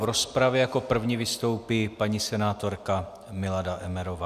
V rozpravě jako první vystoupí paní senátorka Milada Emmerová.